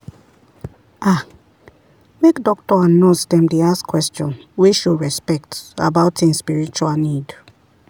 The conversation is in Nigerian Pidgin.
ah make doctor and nurse dem dey ask question wey show respect about en spiritual need.